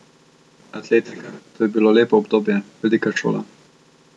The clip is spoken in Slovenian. Atletika, to je bilo lepo obdobje, velika šola.